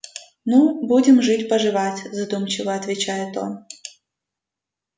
ну будем жить поживать задумчиво отвечает он